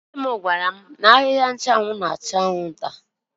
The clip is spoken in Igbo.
Nne m gwara m n'ahịhịa nchụanwụ na-achụ anwụnta.